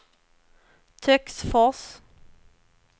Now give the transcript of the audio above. Töcksfors